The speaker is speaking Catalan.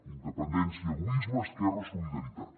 independència egoisme esquerra solidaritat